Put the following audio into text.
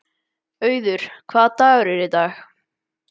Auður, hvaða dagur er í dag?